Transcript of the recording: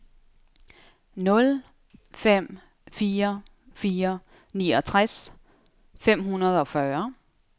nul fem fire fire niogtres fem hundrede og fyrre